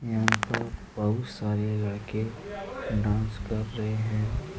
यहाँ पर बहुत सारे लड़के डांस कर रहे है।